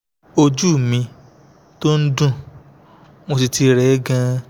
ojú mi tún ń dùn mo sì ti rẹ́ gan-an